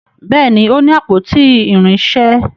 Béèni o ní àpótí irinṣẹ.